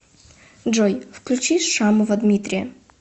джой включи шамова дмитрия